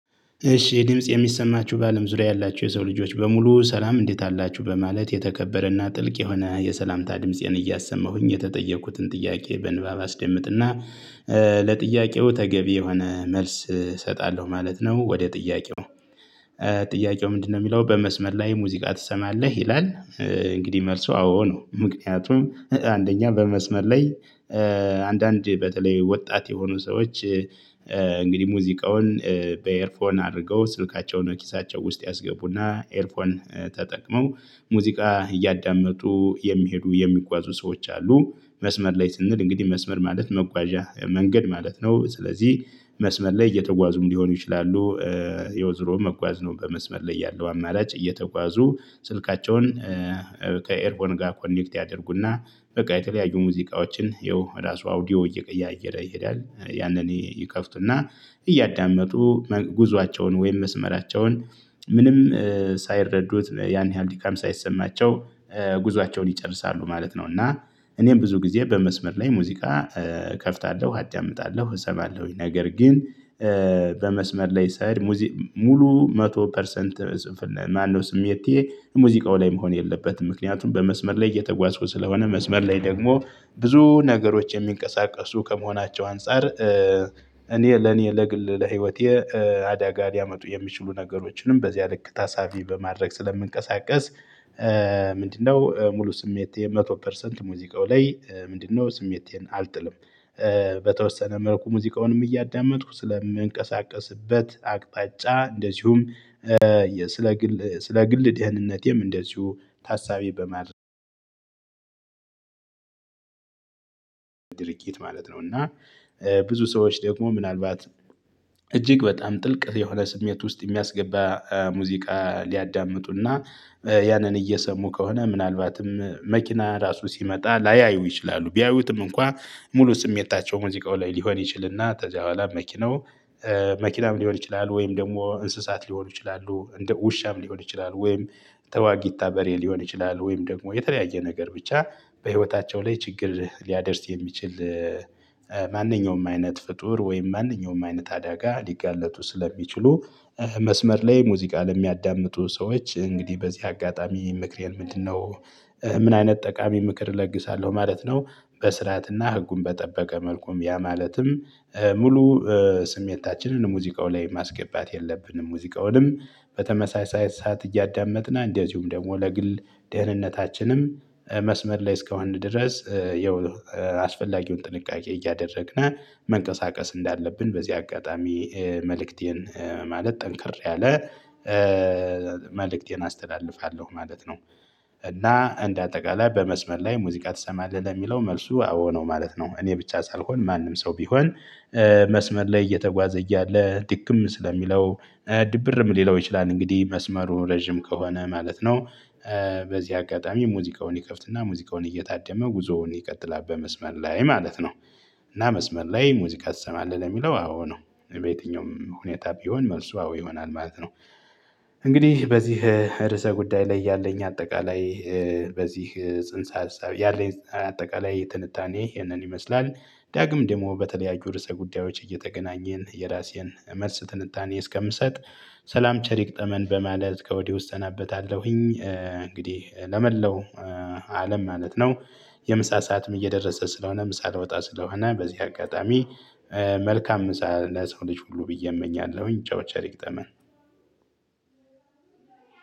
እሺ ይህ ድምጽ የሚሰማችሁ በአለም ዙሪያ ያላችሁ የሰው ልጆች በሙሉ ሰላም እንዴት አላችሁ በማለት የተከበረና ጥልቅ የሆነ የሰላምታ ድምፄን እያሰማሁኝ የተጠየቁትን ጥያቄ በንባብ አስደምጥና ለጥያቄው ተገቢ የሆነ መልስ እሰጣለሁ ማለት ነው። ወደ ጥያቄው ጥያቄው ምንድነው የሚለው በመስመር ላይ ሙዚቃ ትሰማለህ ይላል? እንግዲህ መልሱ አዎ ነው ምክንያቱም አንደኛ በመስመር ላይ። አንድ አንድ በተለይ ወጣት የሆኑ ሰዎች እንግዲህ ሙዚቃውን በኤርፎን አድርገው ስልካቸውን ኪሳቸው ውስጥ ያስገቡና ኤርፎን ተጠቅመው ሙዚቃ እያዳመጡ የሚሄዱ የሚጓዙ ሰዎች አሉ። መስመር ላይ ስንል እንግዲህ መስመር ማለት መጓዣ መንገድ ማለት ነው። ስለዚህ መስመር ላይ እየተጓዙም ሊሆኑ ይችላሉ። ያው ዞሮ መጓዝ ነው በመስመር ላይ ያለው አማራጭ እየተጓዙ ስልካቸውን ከኤርፎን ጋር ኮኔክት ያደርጉና በቃ የተለያዩ ሙዚቃዎችን ያው ራሱ አውዲዮ እየቀያየረ ይሄዳል። ያንን ይከፍቱና እያዳመጡ ጉዟቸውን ወይም መስመራቸውን ምንም ሳይረዱት ያን ያህል ድካም ሳይሰማቸው ጉዞአቸውን ይጨርሳሉ ማለት ነው። እና እኔም ብዙ ጊዜ በመስመር ላይ ሙዚቃ እከፍታለሁ አዳምጣለሁ እሰማለሁኝ። ነገር ግን በመስመር ላይ ስሄድ ሙሉ መቶ ፐርሰንት ማነው ስሜቴ ሙዚቃው ላይ መሆን የለበትም ምክንያቱም በመስመር ላይ እየተጓዝኩ ስለሆነ መስመር ላይ ደግሞ ብዙ ነገሮች የሚንቀሳቀሱ ከመሆናቸው አንፃር እኔ ለኔ ለግል ለህይወቴ አዳጋ ሊያመጡ የሚችሉ ነገሮችንም በዚያ ልክ ታሳቢ በማድረግ ስለምንቀሳቀስ። ምንድነው ሙሉ ስሜቴ መቶ ፐርሰንት ሙዚቃው ላይ ምንድነው ስሜቴን አልጥልም። በተወሰነ መልኩ ሙዚቃውንም እያዳመጥኩ ስለምንቀሳቀስበት አቅጣጫ እንደዚሁም ስለ ግል ደህንነቴም እንደዚሁ ታሳቢ በማድረግ ድርጊት ማለት ነው። እና ብዙ ሰዎች ደግሞ ምናልባት እጅግ በጣም ጥልቅ የሆነ ስሜት ውስጥ የሚያስገባ ሙዚቃ ሊያዳምጡና ያንን እየሰሙ ከሆነ ምናልባትም መኪና ራሱ ሲመጣ ላያዩ ይችላሉ። ቢያዩትም እንኳን ሙሉ ስሜታቸው ሙዚቃው ላይ ሊሆን ይችልና ከዚያ በኋላ መኪናው መኪናም ሊሆን ይችላል ወይም ደግሞ እንስሳት ሊሆኑ ይችላሉ እንደ ውሻም ሊሆን ይችላሉ ወይም ተዋጊታ በሬ ሊሆን ይችላል ወይም ደግሞ የተለያየ ነገር ብቻ በህይወታቸው ላይ ችግር ሊያደርስ የሚችል። ማንኛውም አይነት ፍጡር ወይም ማንኛውም አይነት አዳጋ ሊጋለጡ ስለሚችሉ መስመር ላይ ሙዚቃ ለሚያዳምጡ ሰዎች እንግዲህ በዚህ አጋጣሚ ምክሬ ምንድነው? ምን አይነት ጠቃሚ ምክር እለግሳለሁ ማለት ነው። በስርዓትና ህጉን በጠበቀ መልኩ ያ ማለትም ሙሉ ስሜታችንን ሙዚቃው ላይ ማስገባት የለብንም። ሙዚቃውንም በተመሳሳይ ሰዓት እያዳመጥነ እንደዚሁም ደግሞ ለግል ደህንነታችንም መስመር ላይ እስከሆነ ድረስ ያው አስፈላጊውን ጥንቃቄ እያደረግነ መንቀሳቀስ እንዳለብን በዚህ አጋጣሚ መልእክቴን ማለት ጠንከር ያለ መልእክቴን አስተላልፋለሁ ማለት ነው። እና እንደ አጠቃላይ በመስመር ላይ ሙዚቃ ትሰማለህ ለሚለው መልሱ አዎ ነው ማለት ነው። እኔ ብቻ ሳልሆን ማንም ሰው ቢሆን መስመር ላይ እየተጓዘ እያለ ድክም ስለሚለው ድብርም ሊለው ይችላል እንግዲህ መስመሩ ረጅም ከሆነ ማለት ነው። በዚህ አጋጣሚ ሙዚቃውን ይከፍትና ሙዚቃውን እየታደመ ጉዞውን ይቀጥላል በመስመር ላይ ማለት ነው። እና መስመር ላይ ሙዚቃ ትሰማለህ ለሚለው አዎ ነው በየትኛውም ሁኔታ ቢሆን መልሱ አዎ ይሆናል ማለት ነው። እንግዲህ በዚህ ርዕሰ ጉዳይ ላይ ያለኝ አጠቃላይ በዚህ ጽንሰ ሀሳብ ያለኝ አጠቃላይ ትንታኔ ይህንን ይመስላል። ዳግም ደግሞ በተለያዩ ርዕሰ ጉዳዮች እየተገናኘን የራሴን መልስ ትንታኔ እስከምሰጥ ሰላም ቸር ይግጠመን በማለት ከወዲሁ እሰናበታለሁኝ። እንግዲህ ለመላው አለም ማለት ነው። የምሳ ሰዓትም እየደረሰ ስለሆነ ምሳ ልወጣ ስለሆነ በዚህ አጋጣሚ መልካም ምሳ ለሰው ልጅ ሁሉ ብዬ እመኛለሁኝ ቻው ቸር ይግጠመን።